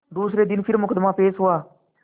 दूसरे दिन फिर मुकदमा पेश हुआ